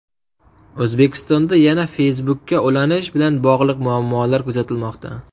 O‘zbekistonda yana Facebook’ka ulanish bilan bog‘liq muammolar kuzatilmoqda.